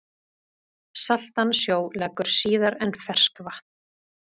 Saltan sjó leggur síðar en ferskvatn.